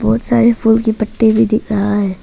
बहुत सारे फूल की पट्टी भी दिख रहा है।